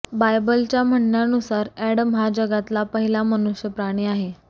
बायबलच्या म्हणण्यानुसार ऍडम हा जगातला पहिला मनुष्य प्राणी आहे